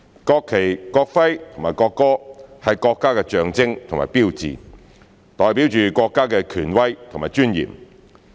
國旗、國徽和國歌，是國家的象徵和標誌，代表着國家的權威和尊嚴。